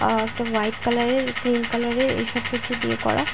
আর একটা white colour -এর green colour -এর এইসব কিছু দিয়ে করা ।